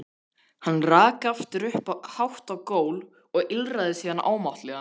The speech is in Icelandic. Hann rak aftur upp hátt gól og ýlfraði síðan ámáttlega.